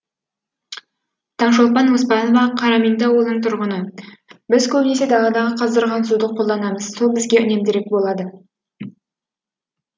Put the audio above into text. таңшолпан оспанова қарамеңді ауылының тұрғыны біз көбінесе даладағы қаздырған суды қолданамыз сол бізге үнемдірек болады